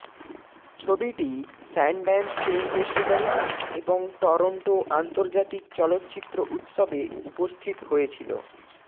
ছবিটি Sundance film festival এবং Toronto আন্তর্জাতিক চলচ্চিত্র উৎসবে উপস্থিত হয়েছিল